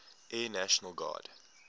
air national guard